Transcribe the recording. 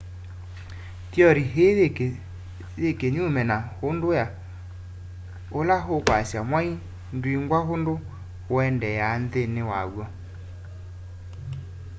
theory ii yi kinyume na undu ula ukwasya mwai ndwingwa undu uendeea nthini waw'o